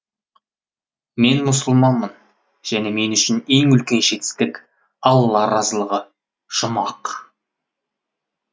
мен мұсылманмын және мен үшін ең үлкен жетістік алла разылығы жұмақ